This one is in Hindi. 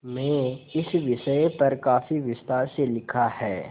में इस विषय पर काफी विस्तार से लिखा है